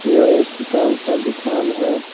यह एक किताब का दुकान है।